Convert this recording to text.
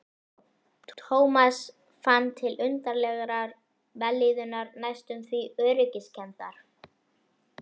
Thomas fann til undarlegrar vellíðunar, næstum því öryggiskenndar.